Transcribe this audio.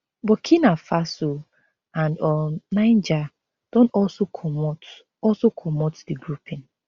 burkina faso and um niger don also commot also commot di grouping